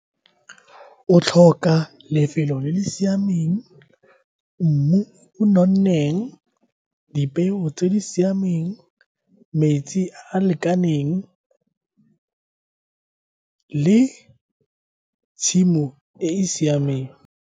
O tlhoka lefelo le le siameng, mmu o nonneng, dipeo tse di siameng, metsi a a lekaneng le tshimo e e siameng.